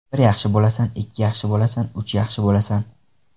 Bir yaxshi bo‘lasan, ikki yaxshi bo‘lasan, uch yaxshi bo‘lasan.